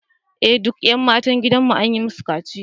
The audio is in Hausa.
Eh duk ’yan matan gidanmu an yi musu kaciya